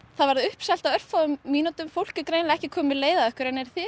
það varð uppselt á örfáum mínútum fólk er greinilega ekki komið með leið á ykkur eru þið